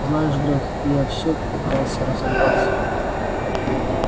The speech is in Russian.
знаешь грег я всё пытался разобраться